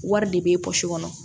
Wari de bɛ pɔsi kɔnɔ